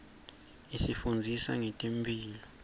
isifundzisa nangetemphilo